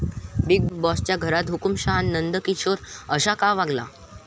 Big बाॅसच्या घरात 'हुकुमशहा' नंदकिशोर असा का वागला?